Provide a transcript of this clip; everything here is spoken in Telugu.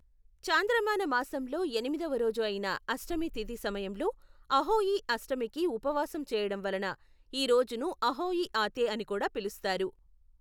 చాంద్రమాన మాసంలో ఎనిమిదవ రోజు అయిన అష్టమి తిథి సమయంలో అహోయి అష్టమికి ఉపవాసం చేయడం వలన ఈ రోజును అహోయ్ ఆతే అని కూడా పిలుస్తారు.